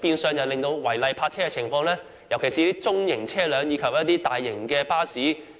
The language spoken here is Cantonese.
這令區內違例泊車的情況十分嚴重，特別是中型車輛及大型巴士。